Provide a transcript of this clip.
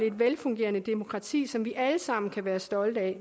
et velfungerende demokrati som vi alle sammen kan være stolte af